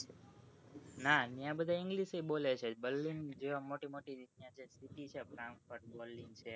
ના ત્યાં બધા english એ બોલે છે berlin જેવા મોટી મોટી city